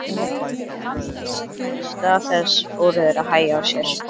En þess í stað fóru þeir að hægja á sér.